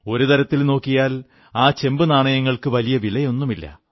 ഒരു തരത്തിൽ നോക്കിയാൽ ചെമ്പുനാണയങ്ങൾക്ക് വലിയ വിലയൊന്നുമില്ല